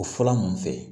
O fɔlɔ mun fɛ